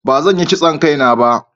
ba zan Yi kitson Kai na ba